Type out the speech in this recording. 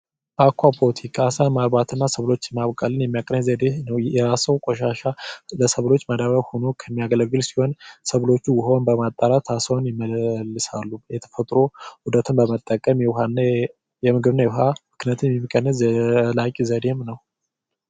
ዓሳ ማምረትና ደህንነት ሳሮችን በመጠቀም የሚያገለግል ሲሆን ሰብሎቹ ውሃውን በማጣራት ይጠብቃሉ የውሃ ኡደትን በመጠቀም የአሳና የውሃን ትስስር የሚጠብቅ ዘላቂ ዘዴም ነው።